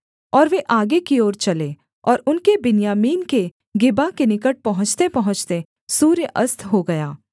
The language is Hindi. और वे आगे की ओर चले और उनके बिन्यामीन के गिबा के निकट पहुँचतेपहुँचते सूर्य अस्त हो गया